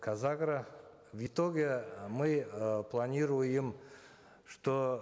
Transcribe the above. казагро в итоге мы э планируем что